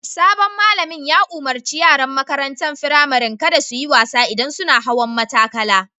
Sabon malamin ta umarni yaran makarantan firamarin kada su yi wasa idan sunna hawan matakala.